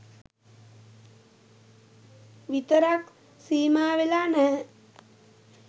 විතරක් සීමාවෙලා නැහැ.